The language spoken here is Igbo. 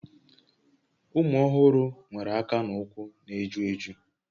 Ụmụ ọhụrụ nwere aka na ụkwụ na-eju eju